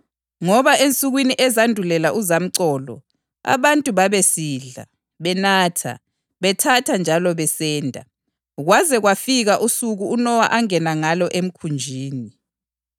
Ngoba ensukwini ezandulela uzamcolo, abantu babesidla, benatha, bethatha njalo besenda, kwaze kwafika usuku uNowa angena ngalo emkhunjini;